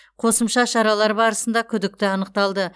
қосымша шаралар барысында күдікті анықталды